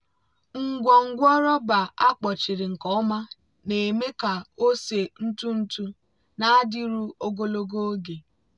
ngwongwo rọba akpọchiri nke ọma na-eme ka ose ntụ ntụ na-adịru ogologo oge.